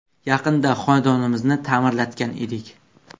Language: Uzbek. Yaqinda xonadonimizni ta’mirlatgan edik.